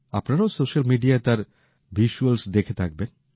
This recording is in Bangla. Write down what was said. আপনারাও সোশ্যাল মিডিয়ায় তার ছবি দেখে থাকবেন